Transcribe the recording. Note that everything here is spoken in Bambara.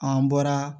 An bɔra